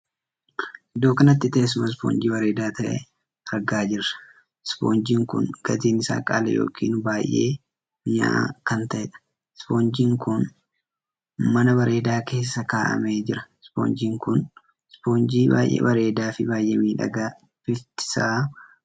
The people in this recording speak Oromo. Iddoo kanatti teessuma ispoonjii bareedaa tahee argaa jirta. ispoonjiin kun gatiin isaa qaalii ykn baay'ee minya'a kan taheedha.'Ispoonjiin' kun mana bareedaa keessa kaa'amee jira. ispoonjiin kun 'ispoonjii' baay'ee bareedaa fi baay'ee miidhagaa bifti sa'a adii kan taheedha.